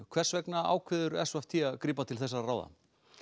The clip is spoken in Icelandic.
hvers vegna ákveður s v t að grípa til þessara ráða